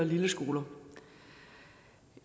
lilleskoler